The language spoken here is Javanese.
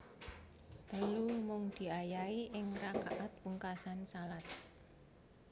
Telu Mung diayahi ing rakaat pungkasan shalat